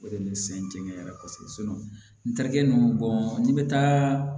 O de bɛ n sɛgɛn n cɛ la kosɛbɛ n terikɛ n bɔn n'i bɛ taa